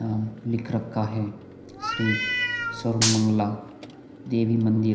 यहाँ पर लिख रखा है श्री सर्वमंगला देवी मंदिर।